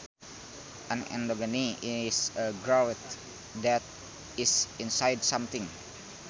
An endogeny is a growth that is inside something